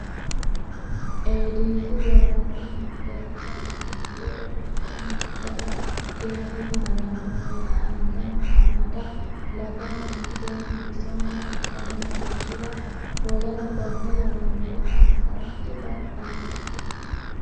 Eedisi vayrese mundeensa manni ledo mitto mine gala keere haa ranno woyte angansa amada lagaho mitteenni bisonna uddanna hayishshi ranna w k l assa dibaxanno.